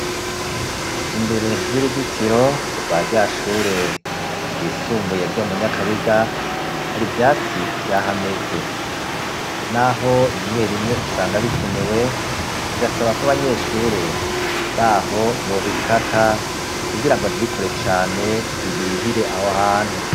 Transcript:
Imbere y'uruzitiro rwa rya shure ryisumbuye ryo mu Nyakabiga, hari ivyatsi vyahameze. N'aho rimwe rimwe usanga bikenewe, birasaba ko abanyeshure baho bobikata kugira ngo ntibikure cane bibihire aho hantu.